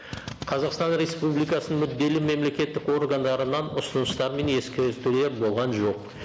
қазақстан республикасының мүдделі мемлекеттік органдарынан ұсыныстар мен ескертулер болған жоқ